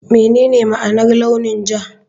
Menene ma'anar launin ja?